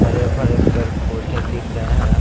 हरे भरे पेड़ पोथे दिख रहे हैं।